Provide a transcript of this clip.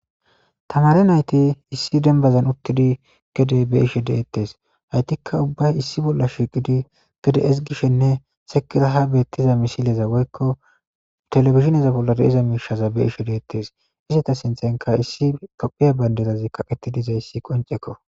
Tamare nayti issi denbazan uttidi gede be ishe deettes haytikka ubbay issi bolla shiiqidi gede esgishenne sekilaha beettiza misileza woykko telefishineza bolla deiza miishaza be ishe deettes izita sinthenka issi kopphiya bayndedazi kaqetidiza issi qoncekko